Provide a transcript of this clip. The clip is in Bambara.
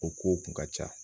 O kow kun ka ca